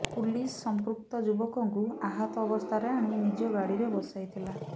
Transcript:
police ସମ୍ପୃକ୍ତ ଯୁବକଙ୍କୁ ଆହତ ଅବସ୍ଥାରେ ଆଣି ନିଜ ଗାଡ଼ିରେ ବସାଇଥିଲା